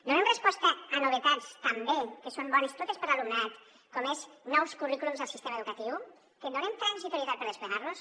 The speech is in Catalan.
donem resposta a novetats també que són bones totes per a l’alumnat com és nous currículums al sistema educatiu que donem transitorietat per desplegar los